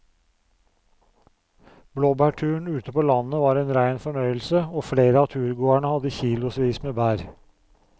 Blåbærturen ute på landet var en rein fornøyelse og flere av turgåerene hadde kilosvis med bær.